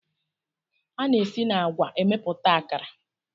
A na-esi na agwa emepụta akara.